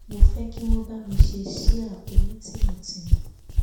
mo fẹ kí wọn bá mi ṣe síá onítìmùtìmù